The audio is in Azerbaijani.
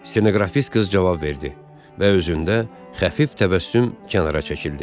Stenoqrafist qız cavab verdi və özündə xəfif təbəssüm kənara çəkildi.